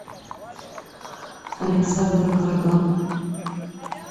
александр гордон